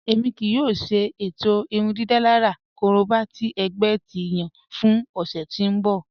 Ẹmi kìí yòò ṣè itọ̀ irúndídálàrà kòróbà tì ẹgbẹ̀ ti yàn fún òṣè tí n bọ̀.